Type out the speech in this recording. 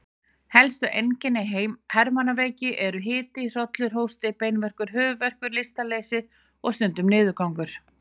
Helstu einkenni hermannaveiki eru hiti, hrollur, hósti, beinverkir, höfuðverkur, lystarleysi og stundum niðurgangur.